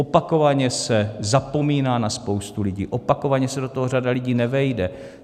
Opakovaně se zapomíná na spoustu lidí, opakovaně se do toho řada lidí nevejde.